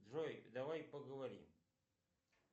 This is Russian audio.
джой давай поговорим